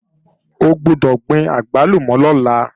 O gbọ́dọ̀ gbin àgbálùmọ̀ lọ́la!